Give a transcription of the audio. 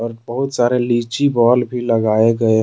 बहुत सारे लीची बॉल भी लगाए गए है।